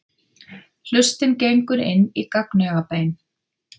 Hlustin gengur inn í gagnaugabein.